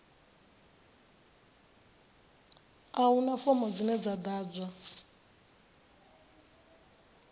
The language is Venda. a huna fomo dzine dza ḓadzwa